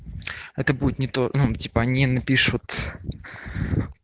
это будет не то ну типа они напишут